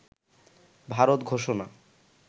ভারত ঘোষণা